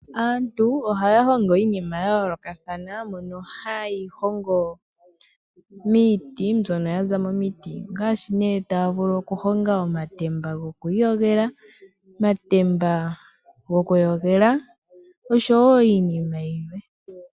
Aantu ohaahongo iinima yayolokathana miiti ngaashi omatemba gokwiiyogela , omatemba gokuyogela nosho woo iinima yilwe.